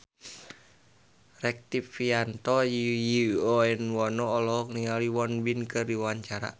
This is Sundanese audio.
Rektivianto Yoewono olohok ningali Won Bin keur diwawancara